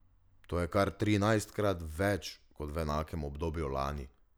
To je kar trinajstkrat več kot v enakem obdobju lani.